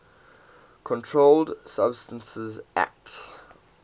controlled substances acte